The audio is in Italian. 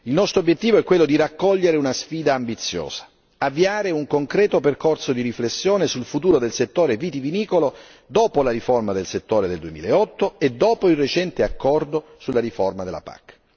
Il nostro obiettivo è quello di raccogliere una sfida ambiziosa avviare un concreto percorso di riflessione sul futuro del settore vitivinicolo dopo la riforma del settore del 2008 e dopo il recente accordo sulla riforma della PAC.